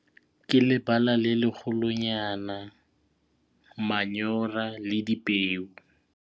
Ke lebala le lekgolo nyana, manyora le dipeo.